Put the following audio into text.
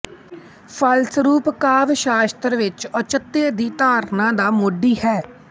ਫਲਸਰੂਪ ਕਾਵਿ ਸ਼ਾਸਤ੍ਰ ਵਿੱਚ ਔਚਿਤਯ ਦੀ ਧਾਰਨਾ ਦਾ ਮੋਢੀ ਹੈ